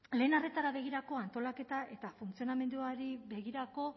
lehen arretara begirako antolaketa eta funtzionamenduari begirako